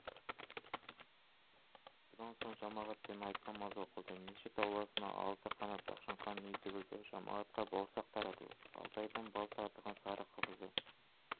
бұдан соң жамағатпен айт намазы оқылды мешіт ауласына алты қанат ақшаңқан үй тігілді жамағатқа бауырсақ таратылып алтайдың бал татыған сары қымызы